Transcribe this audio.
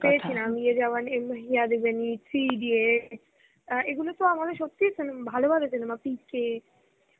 পেয়েছিলাম, Hindi , three idiots. এগুলোতো আমাদের সত্যি cinema, ভালো ভালো cinema PK